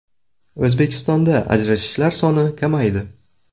O‘zbekistonda ajrashishlar soni kamaydi.